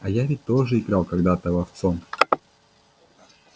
а я ведь тоже играл когда-то ловцом